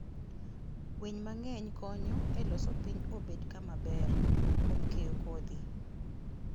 Winy mang'eny konyo e loso piny obed kama ber, kuom keyo kodhi.